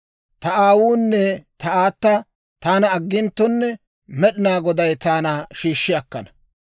Ta aawuunne ta aata taana agginttonne Med'inaa Goday taana shiishshi akkana.